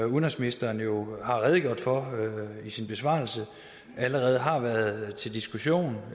udenrigsministeren jo har redegjort for i sin besvarelse allerede har været til diskussion